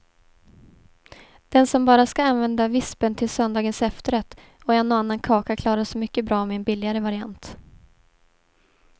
Den som bara ska använda vispen till söndagens efterrätt och en och annan kaka klarar sig mycket bra med en billigare variant.